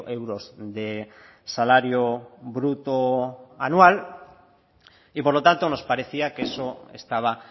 euros de salario bruto anual y por lo tanto nos parecía que eso estaba